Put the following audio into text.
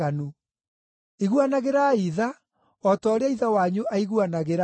Iguanagĩrai tha, o ta ũrĩa Ithe wanyu aiguanagĩra tha.